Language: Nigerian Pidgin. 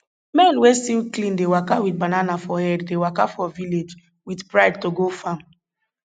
men wey still clean dey waka with banana for head dey waka for village with pride to go farm